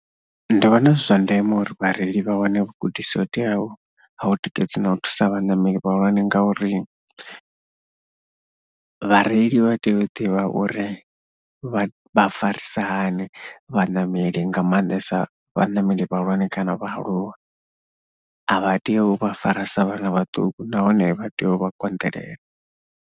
Ndi vhona zwi zwa ndeme uri vhareili vha wane vhugudisi ho teaho ha u tikedza na u thusa vhaṋameli vhahulwane ngauri vhareili vha tea u ḓivha uri vha, vha farisa hani vhaṋameli nga maanḓesa vhaṋameli vhahulwane kana vhaaluwa, a vha tei u vha fara sa vhana vhaṱuku nahone vha tea u vha konḓelela.